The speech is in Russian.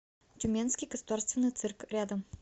тюменский государственный цирк рядом